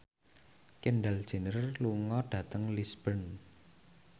Kendall Jenner lunga dhateng Lisburn